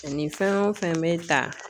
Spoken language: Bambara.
Nin fɛn o fɛn bɛ ta